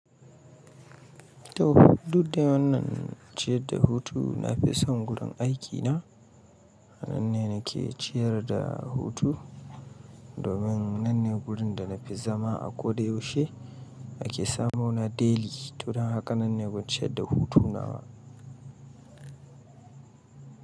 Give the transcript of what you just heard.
To duk da wannan ciyad da hutu nafi son gurin aikina. Nan ne nake ciyar da hutu domin nan ne gurin da na fi zama a ko da yaushe ake samo na daily. To don haka nan ne gwanciyar da hutuna na.